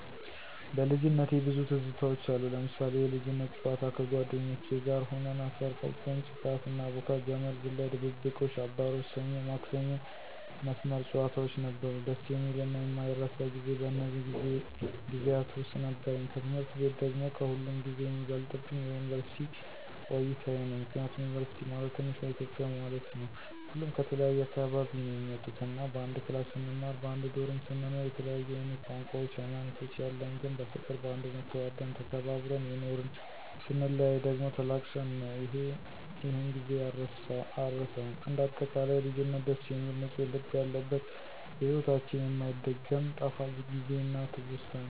በልጅነቴ ብዙ ትዝታውች አሉ... ለምሳሌ፦ የልጅነት ጨዋታ ከጓደኞቼ ጋር ሁነን አፈር ፈጭተን ጭቃ ስናቦካ፣ ገመድ ዝላይ፣ ድብብቆሽ፣ አባሮሽ፣ ሰኞ ማክሰኞ መስመር ጨዋታውች ነበሩ። ደስ የሚልና የማይረሳ ጊዜ በእነዚህ ጊዜያት ውስጥ ነበረኝ። ከትምህርት ቤት ደግሞ ከሁሉም ጊዜ የሚበልጥብኝ የዩንቨርስቲ ቆይታየ ነው። ምክንያቱም ዩንቨርስቲ ማለት ትንሿ ኢትዮጵያ ማለት ነው። ሁሉም ከተለያየ አካባቢ ነው የሚመጡት እና በአንድ ክላስ ስንማር በአንድ ዶርሞ ስንኖር የተለያየ አይነት ቋንቋውች ሀይማኖቶች ያለን ግን በፍቅር በአንድነት ተዋደን ተከባብረን የኖርን ....ስንለያይ ደግሞ ተላቅሰን ነው ይሔን ጊዜ አረሳውም። እንደ አጠቃላይ ልጅነት ደስ የሚል ንፁህ ልብ ያለበት በሒወታችን የማይደገም ጣፋጭ ጊዜና ትውስታ ነው።